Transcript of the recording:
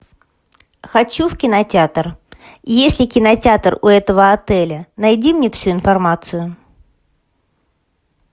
хочу в кинотеатр есть ли кинотеатр у этого отеля найди мне всю информацию